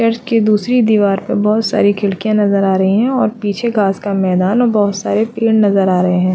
Church के दूसरी दीवार पर बहोत सारी खिड़कियाँ नज़र आ रही है और पीछे घास का मैदान और बहोत सारे पेड़ नज़र आ रहे है।